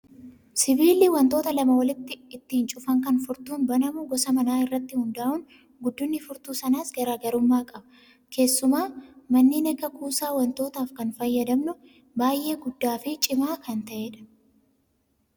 Sibiilli wantoota lama walitti ittiin cufan kan furtuun banamu gosa manaa irratti hundaa'uun guddinni furtuu sanaas garaagarummaa qaba. Keessumaa manneen akka kuusaa wantootaaf kan fayyadamnu baay'ee guddaa fi cimaa kan ta'edha.